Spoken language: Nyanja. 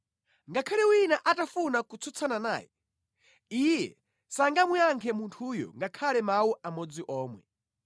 Ngakhale wina atafuna kutsutsana naye, Iye sangamuyankhe munthuyo ngakhale mawu amodzi omwe.